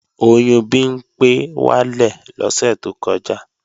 Oyún Bimpé wálẹ̀ lọ́sẹ̀ tó kọjá